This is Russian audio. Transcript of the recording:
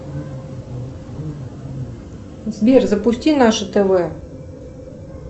сбер запусти наше тв